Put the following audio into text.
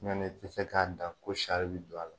Ɲɔnɛ i te se k'a dan ko sari bɛ don a la